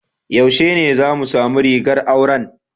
Yaushe ne zamu samu rigar auran?